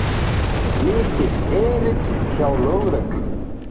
Mikill erill hjá lögreglu